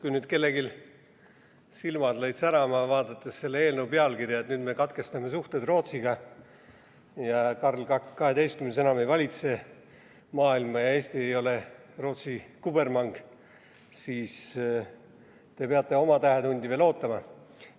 Kui nüüd kellelgi lõid silmad särama selle eelnõu pealkirja vaadates, sest tundus, et nüüd me katkestame suhted Rootsiga, Karl XII enam ei valitse maailma ja Eesti ei ole Rootsi kubermang, siis te peate oma tähetundi veel ootama.